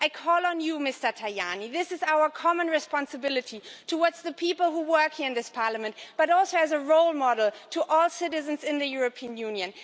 I call on you, Mr Tajani this is our common responsibility towards the people who work here in this Parliament, but also as a role model to all citizens in the European Union.